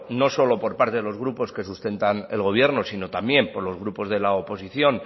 no solo por parte de los grupos que sustentan al gobierno sino también por los grupos de la oposición